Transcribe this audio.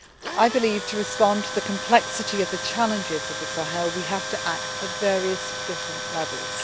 I believe that, in order to respond to the complexity of the challenges of the Sahel, we have to act at various different levels.